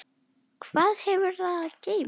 Hvað hefur það að geyma?